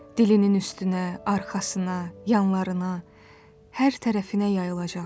Dilinin üstünə, arxasına, yanlarına, hər tərəfinə yayılacaq.